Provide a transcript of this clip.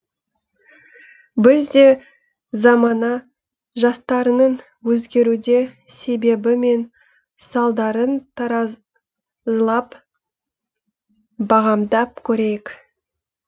біз де замана жастарының өзгеруде себебі мен салдарын таразылап бағамдап көрейік